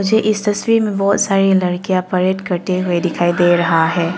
मुझे इस तस्वीर में बहुत सारी लड़कियां परेड करते हुए दिखाई दे रहा है।